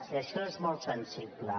i això és molt sensible